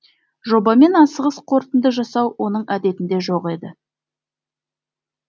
жобамен асығыс қорытынды жасау оның әдетінде жоқ еді